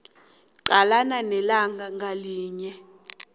qalana nelanga ngalinye